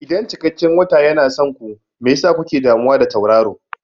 Idan cikakken wata yana son ku, me yasa kuke damuwa da tauraro?